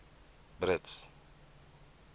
brits